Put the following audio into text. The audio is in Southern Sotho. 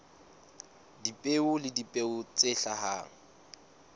dipeo le dipeo tse hlahang